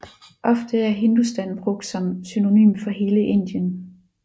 Ofte er Hindustan brugt som synonym for hele Indien